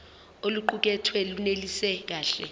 oluqukethwe lunelisi kahle